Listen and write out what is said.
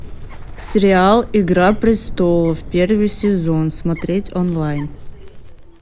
сериал игра престолов первый сезон смотреть онлайн